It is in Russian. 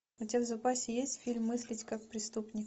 у тебя в запасе есть фильм мыслить как преступник